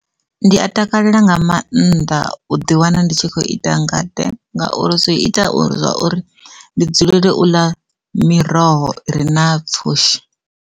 Ndi a takalela nga mannḓa u ḓi wana ndi tshi khou ita ngade ngauri zwi ita uri zwa uri ndi dzulele u ḽa miroho re na pfhushi.